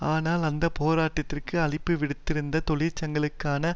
ஆனால் அந்த போராட்டத்திற்கு அழைப்பு விடுத்திருந்த தொழிற்சங்களுக்கான